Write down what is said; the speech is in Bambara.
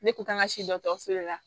Ne kun kan ka si dɔgɔtɔrɔso de la